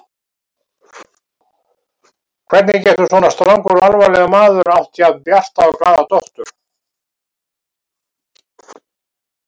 Hvernig getur svona strangur og alvarlegur maður átt jafn bjarta og glaða dóttur?